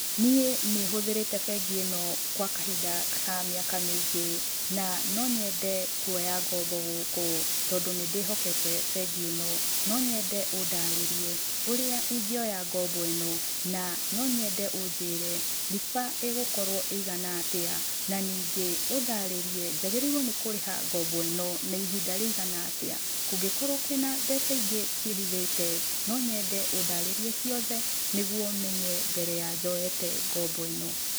Niĩ nĩ hũhĩrĩte bengi ĩno kwa kahinda ka mĩaka mĩingĩ, na no nyende kuoya ngombo gũkũ tondũ nĩ ndĩhokete bengi ĩno, no nyende ũndarĩrie ũrĩa ingĩoya ngombo ĩno, na no nyende ũnjĩre riba ĩgũkorwo ĩigana atĩa, na ningĩ ũndarĩrie njagĩrĩirwo nĩ kũrĩha ngombo ĩno na ihinda rĩigana atĩa. Kũngĩkorwo kwĩna mbeca ingĩ ciĩhithĩte no nyende ũndarĩrie ciothe nĩguo menye mbere ya njoyete ngombo ĩno.